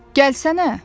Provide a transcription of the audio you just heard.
Gəlsənə!